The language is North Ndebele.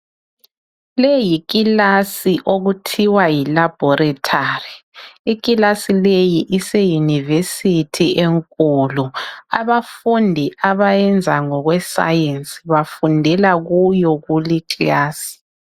Leyi yikilasi okuthiwa yi Laboratory. Iklasi leyi ise university enkulu. Abafundi abayenza ngokwe science bafundela kuyo kule iklasi.